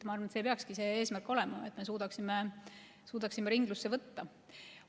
Ma arvan, et meil peakski see eesmärk olema, et me suudaksime ringlusse võtta.